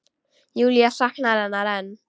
Júlía saknar hennar enn.